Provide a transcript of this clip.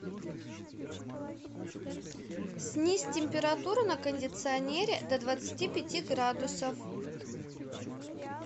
снизь температуру на кондиционере до двадцати пяти градусов